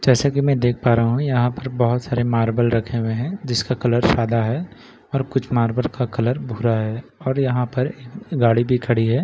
जैसा की मैं देख पा रह हूँ यहाँ पर बहोत सारे मार्बल रखे हुए है जिसका कलर सादा है और कुछ मार्बल का कलर भूरा है और यहाँ पर एक गाड़ी भी खड़ी है।